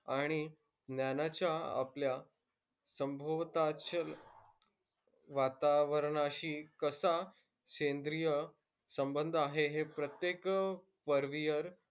आणि ज्ञानाच्या आपल्या सभोवतालच्या वातावरणाशी कसा सैंद्रीय संबंध आहे हे प्रत्येक